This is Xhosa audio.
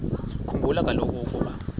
khumbula kaloku ukuba